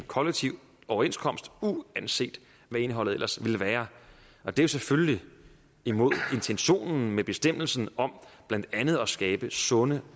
kollektiv overenskomst uanset hvad indholdet ellers ville være det er selvfølgelig imod intentionen med bestemmelsen om blandt andet at skabe sunde